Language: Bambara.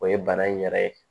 O ye bana in yɛrɛ ye